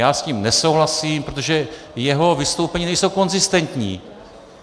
Já s tím nesouhlasím, protože jeho vystoupení nejsou konzistentní.